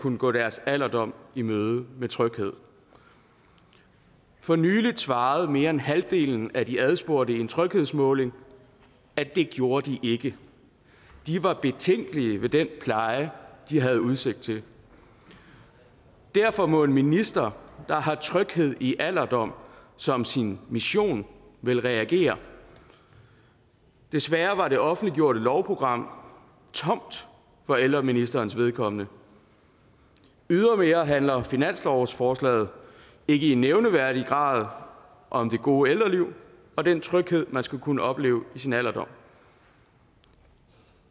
kunne gå deres alderdom i møde med tryghed for nylig svarede mere end halvdelen af de adspurgte i en tryghedsmåling at det gjorde de ikke det var betænkelige ved den pleje de havde udsigt til derfor må en minister der har tryghed i alderdom som sin mission vel reagere desværre var det offentliggjorte lovprogram tomt for ældreministerens vedkommende ydermere handler finanslovsforslaget ikke i nævneværdig grad om det gode ældreliv og den tryghed man skal kunne opleve i sin alderdom